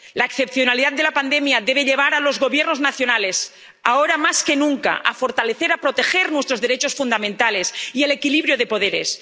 La excepcionalidad de la pandemia debe llevar a los Gobiernos nacionales, ahora más que nunca, a fortalecer, a proteger nuestros derechos fundamentales y el equilibrio de poderes